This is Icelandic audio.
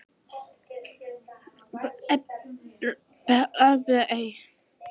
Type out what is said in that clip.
Hún á ekki um neitt að velja, minn kæri.